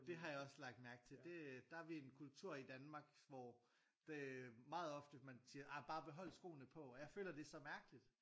Det har jeg også lagt mærke til det der er vi en kultur i Danmark hvor det er meget ofte man siger ej bare behold skoene på og jeg føler det er så mærkeligt